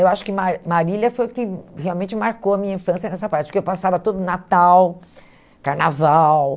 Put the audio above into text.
Eu acho que Ma Marília foi o que realmente marcou a minha infância nessa parte, porque eu passava todo Natal, Carnaval